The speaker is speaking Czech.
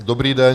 Dobrý den.